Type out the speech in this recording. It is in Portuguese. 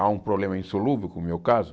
Há um problema insolúvel como meu caso?